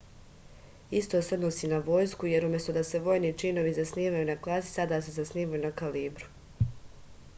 isto se odnosi i na vojsku jer umesto da se vojni činovi zasnivaju na klasi sada se zasnivaju na kalibru